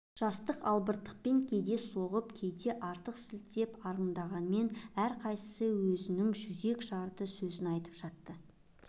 жастық албырттықпен кейде кем соғып кейде артық сілтеп арындағанмен әрқайсысы өзінің жүрек жарды сөзін айтып жатты